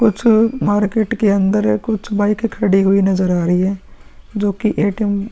कुछ मार्केट के अन्दर कुछ बाइकें खडी हुई नज़र आ रही हैं जोकि एटीएम --